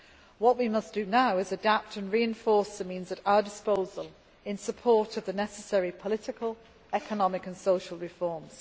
region. What we must do now is adapt and reinforce the means at our disposal to support the necessary political, economic and social